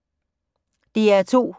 DR P2